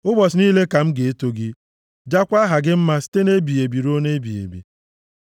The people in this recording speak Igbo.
Ụbọchị niile ka m ga-eto gị jaakwa aha gị mma site nʼebighị ebi ruo ebighị ebi.